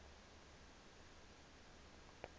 using techniques